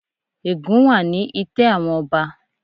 Ègún wà ni itẹ́ àwọn ọba.